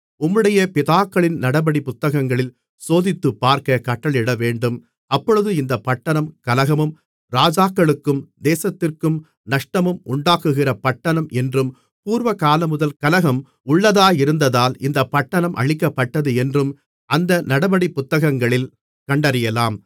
உம்முடைய பிதாக்களின் நடபடி புத்தகங்களில் சோதித்துப்பார்க்கக் கட்டளையிடவேண்டும் அப்பொழுது இந்தப் பட்டணம் கலகமும் ராஜாக்களுக்கும் தேசத்திற்கும் நஷ்டமும் உண்டாக்குகிற பட்டணம் என்றும் பூர்வகாலமுதல் கலகம் உள்ளதாயிருந்ததால் இந்தப் பட்டணம் அழிக்கப்பட்டது என்றும் அந்த நடபடி புத்ததகங்களில் கண்டறியலாம்